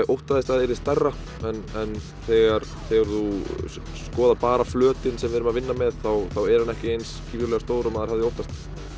óttaðist að það yrði stærra en þegar þegar þú skoðar bara flötinn sem við erum að vinna með þá er hann ekki eins gífurlega stór og maður hefði óttast